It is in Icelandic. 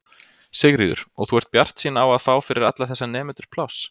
Sigríður: Og þú ert bjartsýn á að fá fyrir alla þessa nemendur pláss?